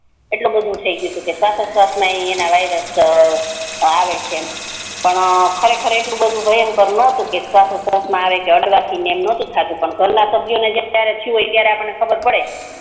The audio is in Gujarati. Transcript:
એટલે બધુ થી ગયું ટુ કે સવાચોસવાસ મા એના વાયરસ અ આવે છે ને અ ખરેખર એટલું દભુ ભયંકર નતુ કે સવાચોસવાસ મા આવે કે અડવાથી આવે પણ ઘર ના સભ્યો ને જ્યારે થયું હોય ત્યારે ખબર પડે